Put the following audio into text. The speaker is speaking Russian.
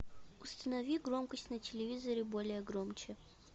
установи громкость на телевизоре более громче